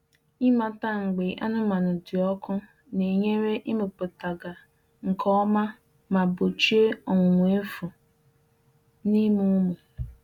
Ịmata mgbe anụmanụ dị ọkụ na-enyere ịmụpụta gaa nke ọma ma gbochie ọnwụnwa efu n’ịmụ ụmụ.